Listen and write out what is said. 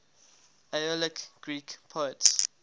aeolic greek poets